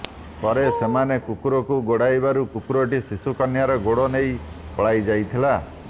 ପରେ ସେମାନେ କୁକୁରକୁ ଗୋଡ଼ାଇବାରୁ କୁକୁରଟି ଶିଶୁ କନ୍ୟାର ଗୋଡ଼ ନେଇ ପଳାଇ ଯାଇଥିଲା